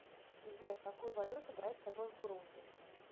сбер какую валюту брать с собой в бурунди